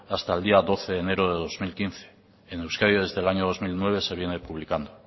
hasta el día doce de enero del dos mil quince en euskadi desde el año dos mil nueve se viene publicando